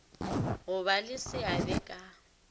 go ba le seabe ka